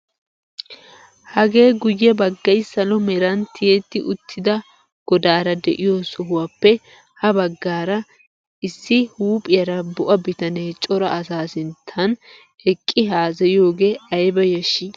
hagee guye baggay salo meran tiyetti uttida godaara de'iyoo sohuwaappe ha baggaara issi huuphphiyaara bo'a bitanee cora asaa sinttan eqqi hasayiyoogee ayba yashshii!